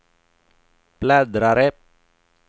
bläddrare